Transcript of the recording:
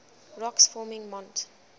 rocks forming mont